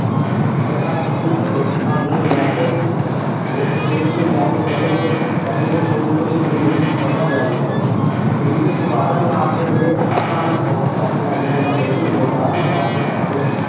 ਜਿਹੜਾ ਤੁਸੀਂ ਇਸ ਕੰਮ ਨੂੰ ਲੈ ਕੇ ਇਸ ਸੋਚ ਨੂੰ ਲੈ ਕੇ ਚੱਲੋਗੇ ਤਾਂ ਵੀਰੇ ਹੁਣ ਤੋਂ ਜ਼ਿੰਦਗੀ ਸਵਰ ਜਾਵੇਗੀ ਤੁਹਾਡੀ ਜ਼ਿੰਦਗੀ ਸਵਾਰਨ ਵਾਸਤੇ ਵੀਰੇ ਆਪਾਂ ਨੂੰ ਬਹੁਤ time ਲੱਗ ਜਾਂਦਾ ਹੈ ਲੇਕਿੰਨ ਵਿਗਾੜਨ ਵਾਸਤੇ ਆਪਾਂ ਨੂੰ